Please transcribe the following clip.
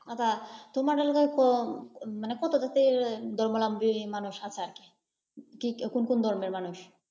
আচ্ছা। তোমার এলাকায় কো কত জাতি ধর্মাবলম্বী মানুষ আছে আর কি? কি কোন কোন ধর্মের মানুষ আছে?